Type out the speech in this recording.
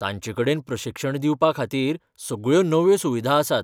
तांचेकडेन प्रशिक्षण दिवपाखातीर सगळ्यो नव्यो सुविधा आसात.